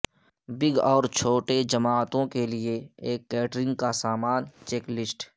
big اور چھوٹے جماعتوں کے لئے ایک کیٹرنگ کا سامان چیک لسٹ